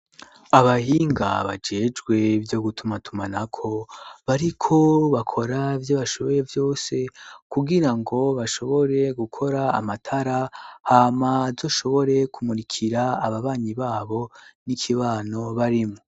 Abahinga bagejwe vyo gutuma tuma na ko bariko bakora by'abashoboye byose kugira ngo bashobore gukora amatara hamadoshobore kumurikira ababanyi babo n'ikibano barimwo.